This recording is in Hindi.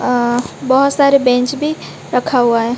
अह बहुत सारे बेंच भी रखा हुआ है।